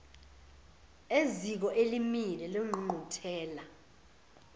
eziko elimile lengqungquthela